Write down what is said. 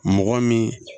Mɔgɔ min